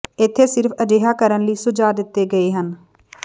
ਇੱਥੇ ਸਿਰਫ ਅਜਿਹਾ ਕਰਨ ਲਈ ਸੁਝਾਅ ਦਿੱਤੇ ਗਏ ਹਨ